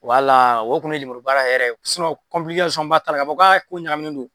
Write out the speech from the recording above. Wala o kun ye lemuru baara yɛrɛ ba t'a la k'a fɔ k'a ko ɲaminen don